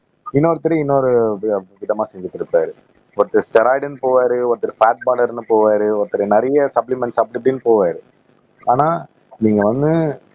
இன்னொருத்தர் இன்னொரு விதமா செஞ்ட்டு இருப்பாரு ஒருத்தர் ஸ்டெராய்டுன்னு போவாரு ஒருத்தர் பாட் பர்னெர்ன்னு போவாரு ஒருத்தர் நிறைய சப்ளிமெண்ட்ஸ் அப்படி இப்படின்னு போவாரு ஆனா நீங்க வந்து